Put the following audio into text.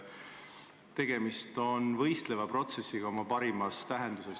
Tegemist on nimelt võistleva protsessiga selle parimas tähenduses.